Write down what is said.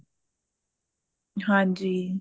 ਹਾਂਜੀ